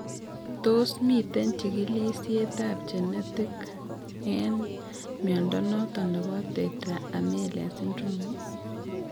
Tos miten chikilisiet ab genetic en mnyondo noton nebo tetra amelia syndrome?